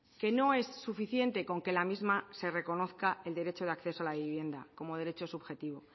que no es suficiente con que la misma se reconozca el derecho del acceso a la vivienda como derecho subjetivo